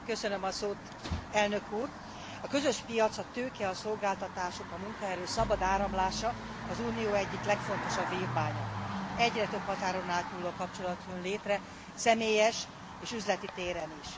A közös piac, a tőke, a szolgáltatások, a munkaerő szabad áramlása az Unió egyik legfontosabb vívmánya. Egyre több határon átnyúló kapcsolat jön létre személyes és üzleti téren is.